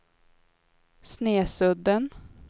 Snesudden